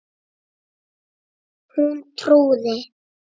Hún trúði